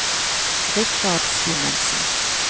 Richard Simonsen